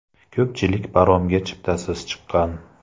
Ko‘pchilik paromga chiptasiz chiqqan.